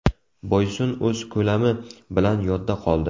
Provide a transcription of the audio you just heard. Boysun o‘z ko‘lami bilan yodda qoldi.